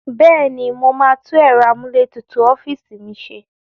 Bẹ́ẹ̀ ni, mo máa tún ẹ̀rọ amúlétutù ọ́fíìsì mi ṣe.